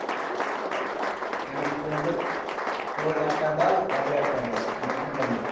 মানে কি বলতো তোর একটা দল ওদের একটা দল মানে company